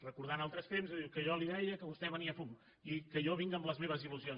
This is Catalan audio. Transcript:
recordant altres temps diu que jo li deia que vostè venia fum i que jo vinc amb les meves il·lusions